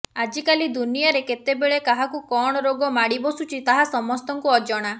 ଆଜିକାଲି ଦୁନିଆରେ କେତେବେଳେ କାହାକୁ କଣ ରୋଗ ମାଡିବସିଛୁଛି ତାହା ସମସ୍ତଙ୍କୁ ଅଜଣା